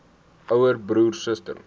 ouer broer suster